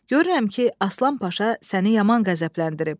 Görürəm ki Aslan Paşa səni yaman qəzəbləndirib.